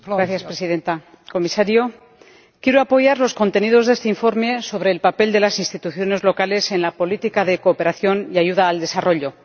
Señora Presidenta, señor Comisario, quiero apoyar los contenidos de este informe sobre el papel de las instituciones locales en la política de cooperación y ayuda al desarrollo.